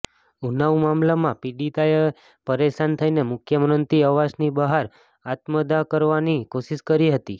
ઉન્નાવ મામલામાં પીડિતાએ પરેશાન થઈને મુખ્ય મંત્રી આવાસની બહાર આત્મદાહ કરવાની કોશિશ કરી હતી